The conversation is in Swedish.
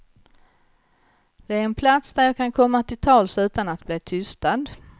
Den är en plats där jag kan komma till tals utan att bli tystad.